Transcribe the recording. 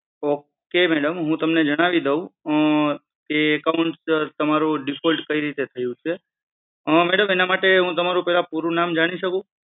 ok madam હું તમને જણાવી દઉ આહ એ account તમારું default કેવી રીતે થયું છે madam હું એના માટે તમારું પૂરું નામ જાણી શકું?